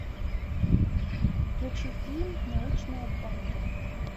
включи фильм научная банда